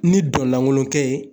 Ni dɔn lankolon kɛ ye.